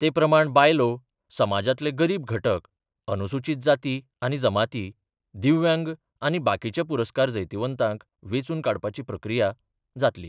ते प्रमाण बायलो, समाजातले गरीब घटक, अनुसुचित जाती आनी जमाती, दिव्यांग आनी बाकीच्या पुरस्कार जैतिवंतांक वेचुन काडपाची प्रक्रिया जातली.